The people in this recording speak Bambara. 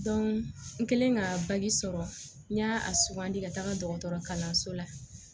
n kɛlen ka sɔrɔ n y'a sugandi ka taga dɔgɔtɔrɔ kalanso la